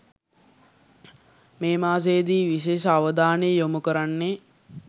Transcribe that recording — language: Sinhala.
මේ මාසයේදී විශේෂ අවධානය යොමු කරන්නේ